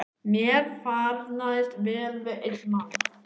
Mér farnaðist vel við einn mann.